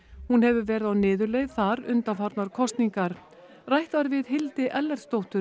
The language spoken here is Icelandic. hún hefur verið á niðurleið þar undanfarnar kosningar rætt var við Hildi